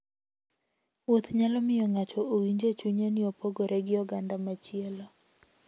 Wuoth nyalo miyo ng'ato owinj e chunye ni opogore gi oganda machielo.